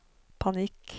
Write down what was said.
panikk